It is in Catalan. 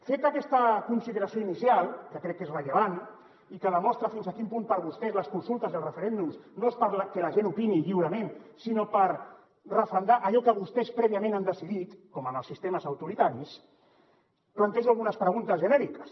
feta aquesta consideració inicial que crec que és rellevant i que demostra fins a quin punt per a vostès les consultes i els referèndums no són perquè la gent opini lliurement sinó per referendar allò que vostès prèviament han decidit com en els sistemes autoritaris plantejo algunes preguntes genèriques